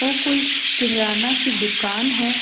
ओ कोई किराना की दुकान है।